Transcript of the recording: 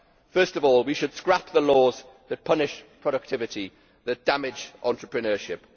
First of all we should scrap the laws that punish productivity, that damage entrepreneurship